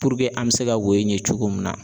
an bɛ se ka wo in ye cogo min na.